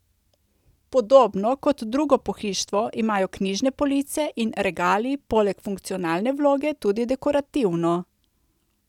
Podobno kot drugo pohištvo imajo knjižne police in regali poleg funkcionalne vloge tudi dekorativno.